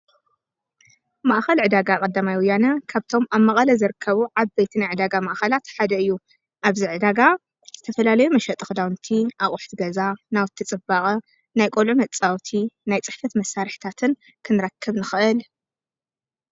ማእኸል ዕዳጋ ቐዳማይ ወያነ ካብቶም ኣብ መቓለ ዝርከቡ ዓበይቲ ናይ ዕዳጋ ማእኻላት ሓደ እዩ። ኣብዚ ዕዳጋ ዝተፈላለዩ መሸጢ ኽዳውንቲ፣ ኣቝሕቲ ገዛ፣ ናውቲ ጽባቐ፣ ናይ ቆልዑ መፃወቲ፣ ናይ ጽሕፍት መሳርሕታትን ኽንራክብ ንኽአል ኢና።